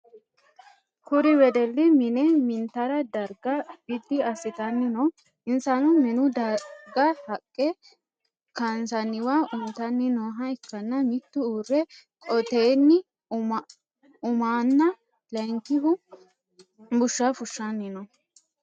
Kuri wedeli mine mintara darga bidi asitanni no. Insano minu darga haqe kaansanniwa untanni nooha ikanna mitu uure qottotenni umanna lankihu busha fushanni no.